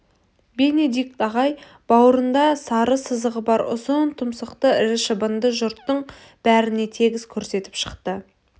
бенедикт ағай бауырында сары сызығы бар ұзын тұмсықты ірі шыбынды жұрттың бәріне тегіс көрсетіп шықты